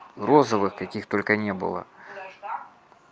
розовых каких только не было даже так